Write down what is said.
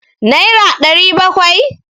naira ɗari bakwai?